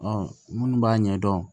minnu b'a ɲɛdɔn